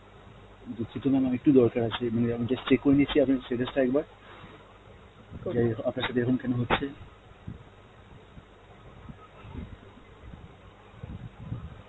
দুক্ষিত mam একটু দরকার আছে আমি just check করে নিচ্ছি আপনার status টা একবার আপনার সথে এরম কেন হচ্ছে.